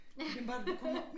Der kan man bare der kommer